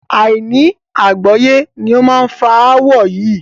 Àìní àgbọ́yé ni ó fa ááwọ̀ yí